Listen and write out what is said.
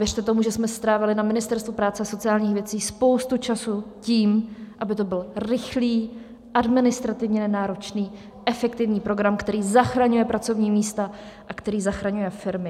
Věřte tomu, že jsme strávili na Ministerstvu práce a sociálních věcí spoustu času tím, aby to byl rychlý, administrativně nenáročný, efektivní program, který zachraňuje pracovní místa a který zachraňuje firmy.